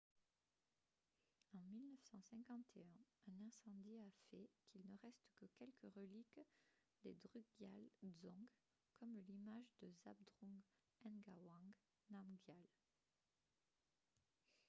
en 1951 un incendie a fait qu'il ne reste que quelques reliques des drukgyal dzong comme l'image de zhabdrung ngawang namgyal